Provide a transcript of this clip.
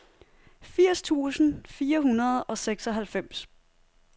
firs tusind fire hundrede og seksoghalvfems